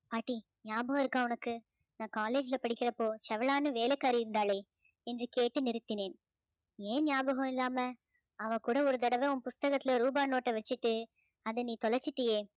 பாட்டி ஞாபகம் இருக்கா உனக்கு நான் college ல படிக்கிறப்போ செவளான்னு வேலைக்காரி இருந்தாளே என்று கேட்டு நிறுத்தினேன் ஏன் ஞாபகம் இல்லாம அவள் கூட ஒரு தடவ உன் புஸ்தகத்துல ரூபா note அ வச்சிட்டு அதை நீ தொலைச்சிட்டியே